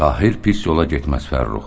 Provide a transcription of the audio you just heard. Tahir pis yola getməz, Fərrux.